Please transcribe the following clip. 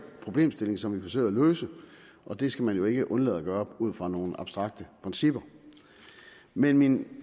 problemstilling som vi forsøger at løse og det skal man jo ikke undlade at gøre ud fra nogle abstrakte principper men min